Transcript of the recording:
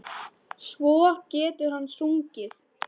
Svo getur hann sungið.